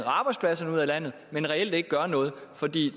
og arbejdspladserne ud af landet men reelt ikke gør noget fordi